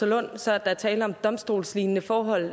lund så at der er tale om domstolslignende forhold